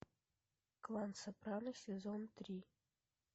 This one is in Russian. клан сопрано сезон три